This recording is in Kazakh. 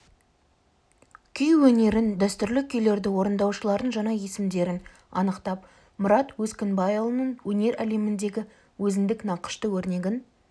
күй өнерін дәстүрлі күйлерді орындаушылардың жаңа есімдерін анықтап мұрат өскінбайұлының өнер әлеміндегі өзіндік нақышты өрнегін